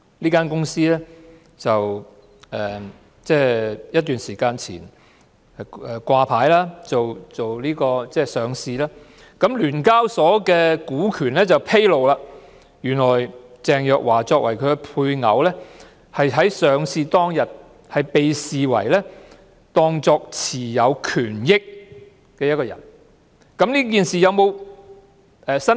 這間公司前陣子掛牌上市，根據香港聯合交易所有限公司的權股披露，原來鄭若驊作為配偶在上市當天被視為持有權益的人，但她有否作出申報？